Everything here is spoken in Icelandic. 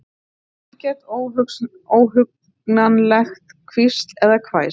Ekkert óhugnanlegt hvísl eða hvæs.